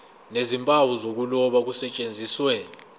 nezimpawu zokuloba kusetshenziswe